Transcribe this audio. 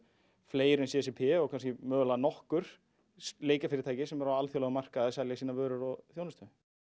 fleiri en c c p og kannski mögulega nokkur leikjafyrirtæki sem eru á alþjóðlegum markaði að selja sínar vörur og þjónustu